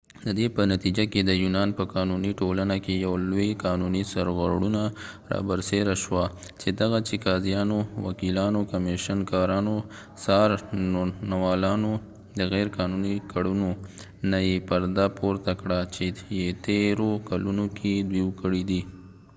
ددې په نتیجه کې د یونان په قانونی ټولنه کې یو لوي قانونی سرغړونه رابرسیره شوه چې دغه چې قاضیانو وکېلانو کمیشن کارانو څارنوالانو د غیر قانونی کړنو نه یې پرده پورته کړه چې يه تیرو کلونو کې دوي کړي دي